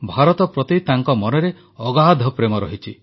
ଭାରତ ପ୍ରତି ତାଙ୍କ ମନରେ ଅଗାଧ ପ୍ରେମ ରହିଛି